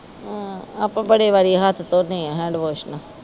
ਆਪਾ ਬੜੇ ਵਾਰੀ ਹੱਥ ਧੋਣੇ ਆ ਹੈਂਡਵਾਸ਼ ਨਾ